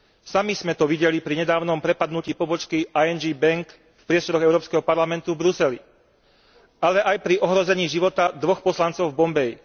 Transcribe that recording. Sami sme to videli pri nedávnom prepadnutí pobočky ING Bank v priestoroch Európskeho parlamentu v Bruseli, ale aj pri ohrození života dvoch poslancov v Bombaji.